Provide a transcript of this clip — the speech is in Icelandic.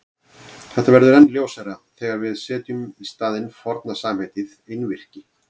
Þetta verður enn ljósara þegar við setjum í staðinn forna samheitið einvirki.